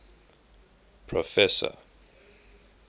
proffesor